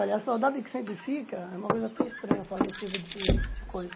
Olha, a saudade que sempre fica é uma coisa até estranha, eu falo nesse tipo de de coisa.